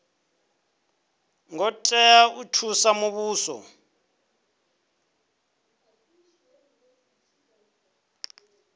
ngo tea u thusa muvhuso